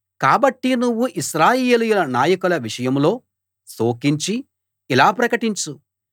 కాబట్టి నువ్వు ఇశ్రాయేలీయుల నాయకుల విషయంలో శోకించి ఇలా ప్రకటించు